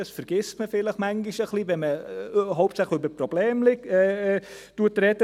das vergisst man vielleicht manchmal ein bisschen, wenn man hauptsächlich über Probleme spricht.